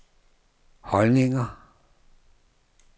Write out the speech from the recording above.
holdninger